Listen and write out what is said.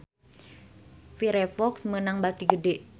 Firefox meunang bati gede